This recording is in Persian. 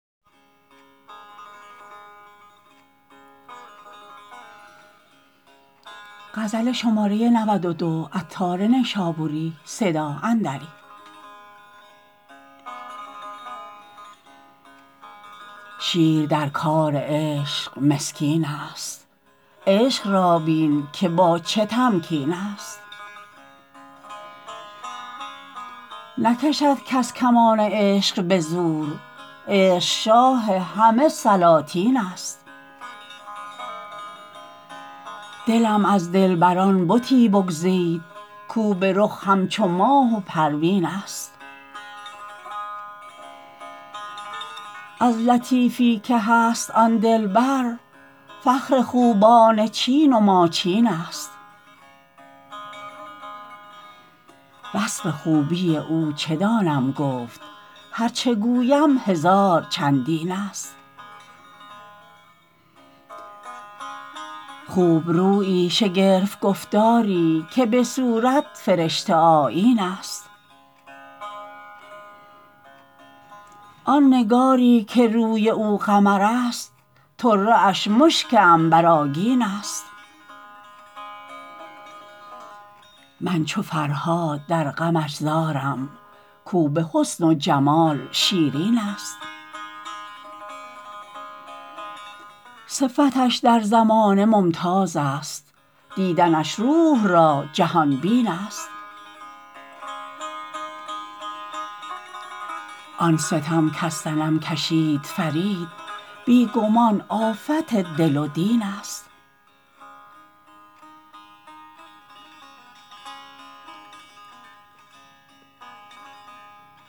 شیر در کار عشق مسکین است عشق را بین که با چه تمکین است نکشد کس کمان عشق به زور عشق شاه همه سلاطین است دلم از دلبران بتی بگزید کو به رخ همچو ماه و پروین است از لطیفی که هست آن دلبر فخر خوبان چین و ماچین است وصف خوبی او چه دانم گفت هرچه گویم هزار چندین است خوب رویی شگرف گفتاری که به صورت فرشته آیین است آن نگاری که روی او قمر است طره اش مشک عنبرآگین است من چو فرهاد در غمش زارم کو به حسن و جمال شیرین است صفتش در زمانه ممتاز است دیدنش روح را جهان بین است آن ستم کز صنم کشید فرید بی گمان آفت دل و دین است